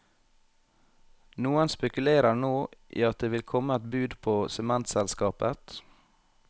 Noen spekulerer nå i at det vil komme et bud på sementselskapet.